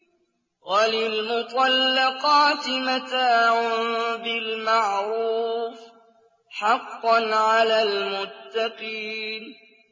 وَلِلْمُطَلَّقَاتِ مَتَاعٌ بِالْمَعْرُوفِ ۖ حَقًّا عَلَى الْمُتَّقِينَ